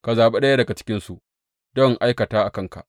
Ka zaɓi ɗaya daga cikinsu don in aikata a kanka.’